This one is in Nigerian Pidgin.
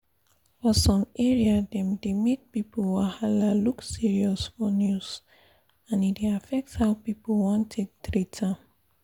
for some area dem dey make body wahala look serious for news and e dey affect how people wan take treat am